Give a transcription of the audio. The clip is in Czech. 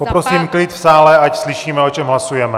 Poprosím klid v sále, ať slyšíme, o čem hlasujeme!